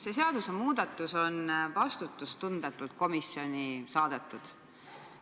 See seadusmuudatus on vastutustundetult komisjoni saadetud.